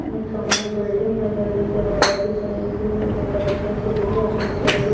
सामने बिल्डिंग है बिल्डिंग के वहाँ काफी सारे ए सि लगे हुए है काफी सारे --